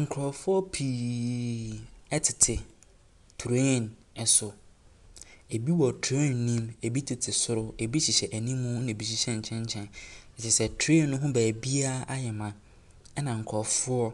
Nkurɔfoɔ pii tete train so, ɛbi wɔ train ne mu, ɛbi tete soro, ɛbi hyehyɛ anim na ɛbi nso hyehyɛ nkyɛnkyɛn. Kyerɛ sɛ train ne ho beebiara ayɛ ma na nkurɔfoɔ